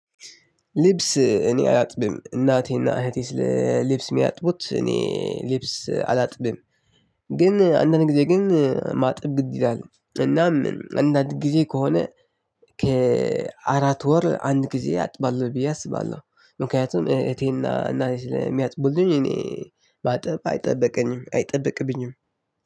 ልብስ እኔ አላጥብም እናቴና እህቴ ስለ ሚያጥቡ እኔ ልብስ አላጥብም። አንዳንድ ጊዜ ግን ማጥብበት ጊዜ አለ። ከአራት ወር አንድ ጊዜ አጥባለሁ ብዬ አስባለሁ። ምክንያቱም እህቴ እና እናቴ ስለሚያጥቡልኝ እኔ ማጠብ አይጠበቅብኝም።